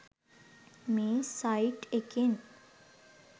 මේ සයිට් එකෙන්